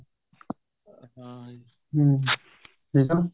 ਹਮ ਠੀਕ ਏ